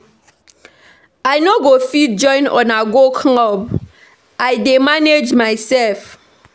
I no go fit join una go club I dey manage myself